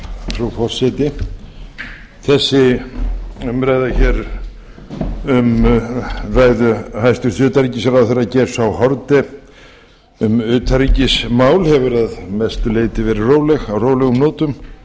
frú forseti þessi umræða hér um ræðu hæstvirts utanríkisráðherra geirs h haarde hefur að mestu leyti verið á rólegum nótum